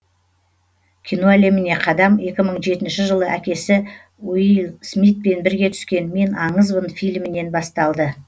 кино әлеміне қадам екі мың жетінші жылы әкесі уилл смитпен бірге түскен мен аңызбын фильмінен басталды